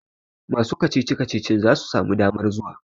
masu kacici-kacicin za su sami damar zuwa?